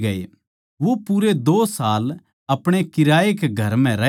वो पूरे दो साल अपणे भाड़ै कै घर म्ह रहया